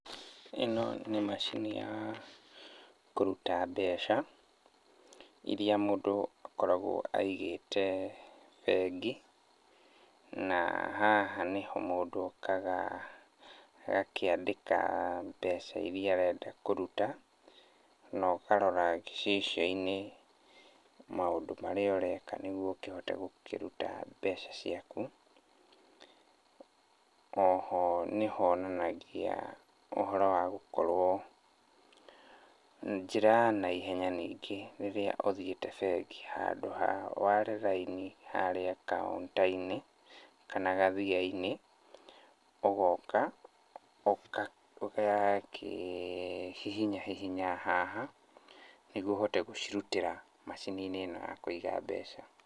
Ĩno nĩ macini ya kũruta mbeca iria mũndũ akoragwo aigĩte bengi. Na haha nĩho mũndũ okaga agakĩandĩka mbeca iria arenda kũruta na ũkarora gicicio-inĩ maũndũ marĩ ũreka nĩguo ũkihote gũkĩruta mbeca ciaku. Oho nĩ honanagia ũhoro wa gũkorwo njĩra ya naihenya ningĩ rĩrĩa ũthiĩte bengi. Handũ ha ware raini harĩa kauntainĩ kana gathiainĩ, ũgooka ũgakĩ hihinya hihinya haha nĩguo ũhote gũcirutĩra macini-inĩ ĩno ya kũiga mbeca.